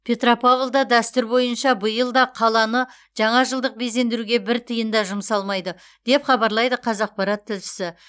петропавлда дәстүр бойынша биыл да қаланы жаңажылдық безендіруге бір тиын да жұмсалмайды деп хабарлайды қазақпарат тілшісі